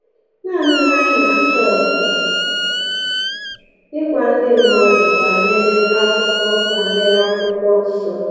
Nanị ihe anyị na-achọ bụ ịgwa ndị mmadụ banyere Akwụkwọ banyere Akwụkwọ Nsọ.”